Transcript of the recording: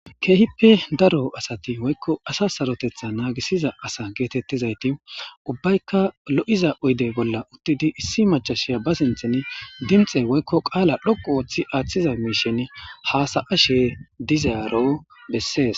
Keehippe daro asa woykko asa saaroteththa nagisiza asa getetiza uubbaykka lo'oiza otdde bolla uuttidii issi macashiya ba sinththan gilththe woykko qaala dhoqqu Oththiza miishshan hassayashe dizaro besses